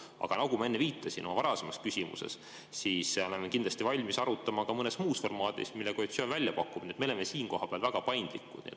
Aga nagu ma viitasin oma varasemas küsimuses, siis me oleme kindlasti valmis seda arutama ka mõnes muus formaadis, mille koalitsioon välja pakub, nii et me oleme siin väga paindlikud.